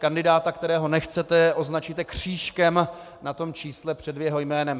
Kandidáta, kterého nechcete, označíte křížkem na tom čísle před jeho jménem.